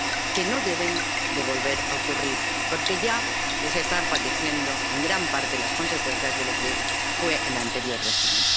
que no deben volver a ocurrir, porque ya se están padeciendo, en gran parte, las consecuencias de lo que fue el anterior régimen.